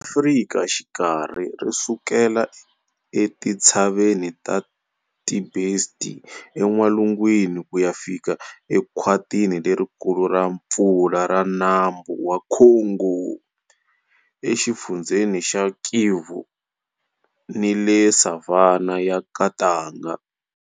Afrika Xikarhi ri sukela eTintshaveni ta Tibesti en'walungwini ku ya fika ekhwatini lerikulu ra mpfula ra Nambu wa Congo, eXifundzheni xa Kivu, ni le Savannah ya Katanga.